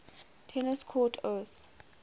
tennis court oath